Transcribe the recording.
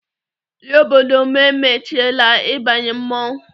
Ndị obodo m emechiela ịbanye mmọnwụ